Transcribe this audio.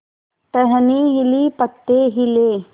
टहनी हिली पत्ते हिले